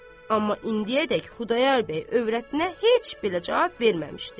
Amma indiyədək Xudayar bəy övrətinə heç belə cavab verməmişdi.